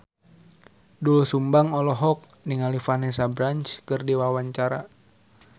Doel Sumbang olohok ningali Vanessa Branch keur diwawancara